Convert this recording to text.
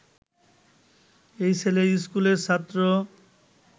এই ছেলে স্কুলের ছাত্র